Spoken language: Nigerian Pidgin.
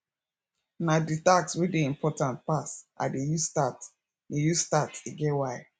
na di task wey dey importaant pass i dey use start e use start e get why